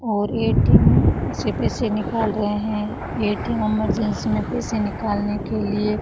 और ए_टी_एम से पैसे निकाल रहे हैं ए_टी_एम में एमरजेंसी में पैसे निकालने के लिए --